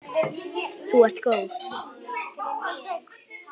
Þú ert góð!